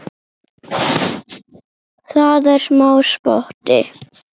Það er smá spotti.